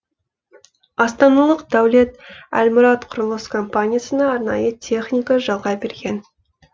астаналық дәулет әлмұрат құрылыс компаниясына арнайы техника жалға берген